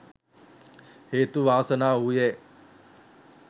හේතු වාසනා වූයේ